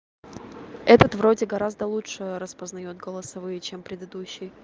этот вроде гораздо лучше распознаёт голосовые чем предыдущий